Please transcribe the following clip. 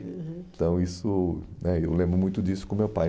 aham. Então isso né, eu lembro muito disso com meu pai.